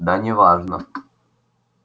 да неважно